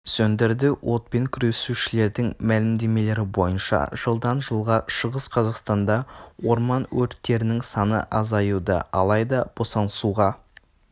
сөндірді отпен күресушілердің мәлімдемелері бойынша жылдан жылға шығыс қазақстанда орман өрттерінің саны азаюда алайда босаңсуға